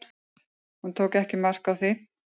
Hún tók ekki mark á því.